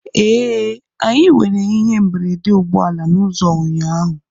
Ee, anyị nwere ihe mberede ụgbọ ala n'ụzọ ụnyaahụ